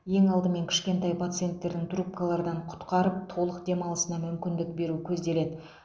ең алдымен кішкентай пациентердің трубкалардан құтқарып толық демалысына мүмкіндік беру көзделеді